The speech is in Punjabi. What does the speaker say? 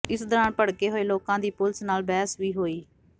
ਇਸ ਦੌਰਾਨ ਭੜਕੇ ਹੋਏ ਲੋਕਾਂ ਦੀ ਪੁਲਿਸ ਨਾਲ ਬਹਿਸ ਵੀ ਹੋਈ